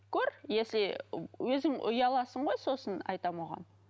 көр если өзің ұяласың ғой сосын айтамын оған